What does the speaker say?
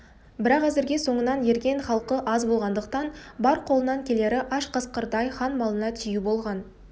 бірақ әзірге соңынан ерген халқы аз болғандықтан бар қолынан келері аш қасқырдай хан малына тию болған